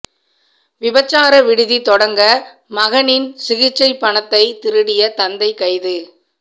விபச்சார விடுதி தொடங்க மகனின் சிகிச்சை பணத்தை திருடிய தந்தை கைது